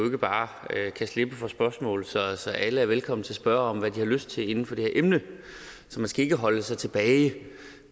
ikke bare kan slippe for spørgsmål så så alle er velkomne til at spørge om hvad de har lyst til inden for det her emne så man skal ikke holde sig tilbage